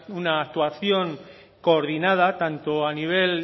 una actuación coordinada tanto a nivel